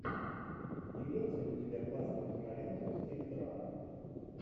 имеется ли у тебя классная кинолента в стиле драмы